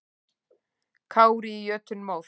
Kári í jötunmóð.